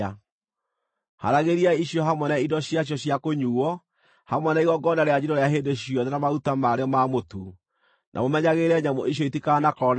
Haaragĩriai icio hamwe na indo ciacio cia kũnyuuo, hamwe na igongona rĩa njino rĩa hĩndĩ ciothe na maruta marĩo ma mũtu. Na mũmenyagĩrĩre nyamũ icio itikanakorwo na kaũũgũ.